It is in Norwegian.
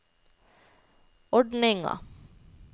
ordninga